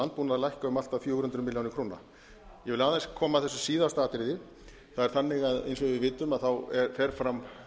landbúnað lækka um allt að fjögur hundruð milljóna króna ég vil aðeins koma að þessu síðasta atriði það er þannig eins og við vitum fer fram